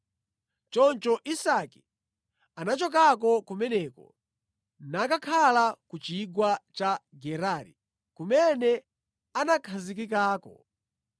Choncho Isake anachokako kumeneko nakakhala ku chigwa cha Gerari kumene anakhazikikako.